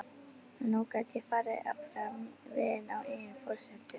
Nú gat ég farið áfram veginn á eigin forsendum.